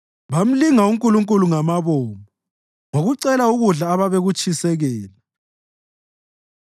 Bamlinga uNkulunkulu ngabomo ngokucela ukudla ababekutshisekela.